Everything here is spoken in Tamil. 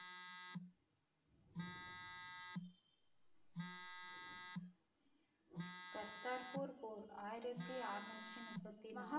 கர்தார்பூர் போர் ஆயிரத்தி அறுநூற்று முப்பத்தி நாலு.